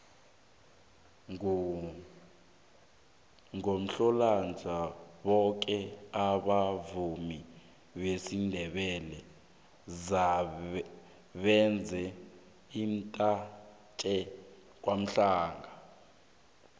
ngomhlolanja boke abavumi besindebele benza umnyanya kwamhlanga